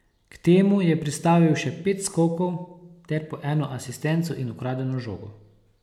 K temu je pristavil še pet skokov ter po eno asistenco in ukradeno žogo.